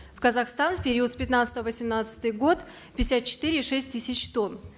в казахстан в период с пятнадцатого восемнадцатый год пятьдесят четыре и шесть тысяч тонн